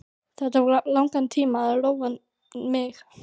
Það tók langan tíma að róa mig.